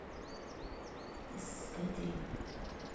искать рим